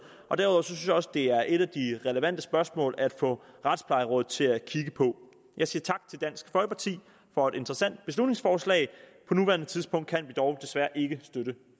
og derudover synes jeg også at det er et af de relevante spørgsmål at få retsplejerådet til at kigge på jeg siger tak til dansk folkeparti for et interessant beslutningsforslag på nuværende tidspunkt kan vi dog desværre ikke støtte